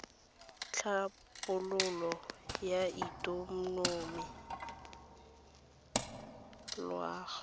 tlhabololo ya ikonomi le loago